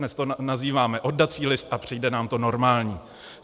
Dnes to nazýváme oddací list a přijde nám to normální.